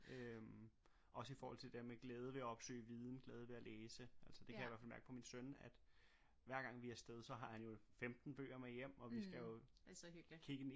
øh også i forhold til det der med glæde ved at opsøge viden glæde ved at læse altså det kan jeg i hvert fald mærke på min søn at hver gang vi afsted så har han jo 15 bøger med hjem og vi skal jo kigge i